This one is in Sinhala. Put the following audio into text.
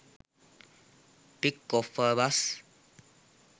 pic of a bus